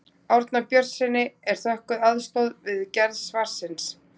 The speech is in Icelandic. Árna Björnssyni er þökkuð aðstoð við gerð svarsins.